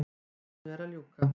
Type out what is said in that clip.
Þinginu er að ljúka.